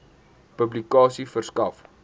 publikasie verskaf